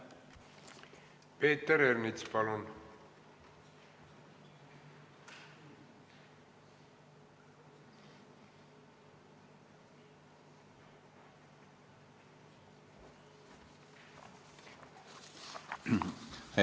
Peeter Ernits, palun!